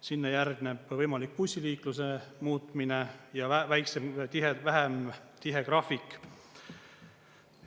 Sinna järgneb võimalik bussiliikluse muutmine ja väiksem tihedus, vähem tihe graafik.